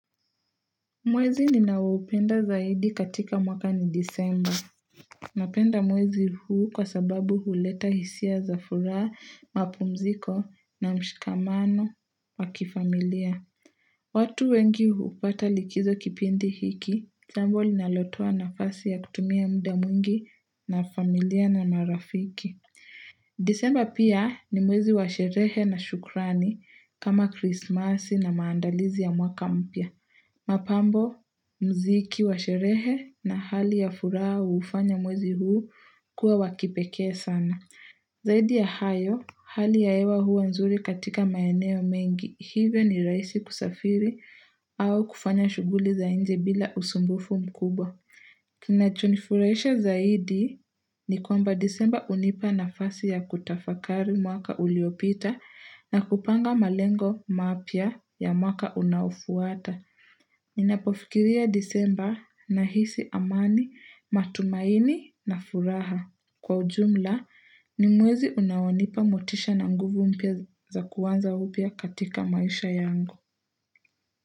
Mwezi ninaoupenda zaidi katika mwaka ni disemba. Napenda mwezi huu kwa sababu huleta hisia za furaha, mapumziko na mshikamano wa kifamilia. Watu wengi hupata likizo kipindi hiki, jambo linalotoa nafasi ya kutumia mda mwingi na familia na marafiki. Disemba pia ni mwezi wa sherehe na shukrani kama krismasi na maandalizi ya mwaka mpya. Mapambo, mziki wa sherehe na hali ya furaha hufanya mwezi huu kuwa wa kipekee sana Zaidi ya hayo, hali ya hewa huwa nzuri katika maeneo mengi. Hivyo, ni rahisi kusafiri au kufanya shughuli za inje bila usumbufu mkubwa Kinachonifurahisha zaidi ni kwamba disemba unipa nafasi ya kutafakari mwaka uliopita na kupanga malengo mapya ya mwaka unaofuata Ninapofikiria disemba nahisi amani, matumaini na furaha. Kwa ujumla, ni mwezi unaonipa motisha na nguvu mpya za kuanza upya katika maisha yangu.